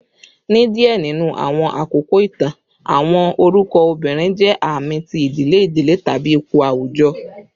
ni diẹ ninu awọn akoko itan, awọn orukọ obirin jẹ aami ti idile idile tabi ipo awujọ